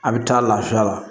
A bɛ taa lafiya la